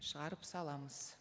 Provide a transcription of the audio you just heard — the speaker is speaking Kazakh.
шығарып саламыз